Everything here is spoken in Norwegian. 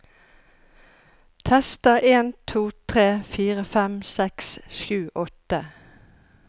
Tester en to tre fire fem seks sju åtte